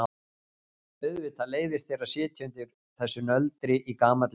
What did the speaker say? Auðvitað leiðist þér að sitja undir þessu nöldri í gamalli konu.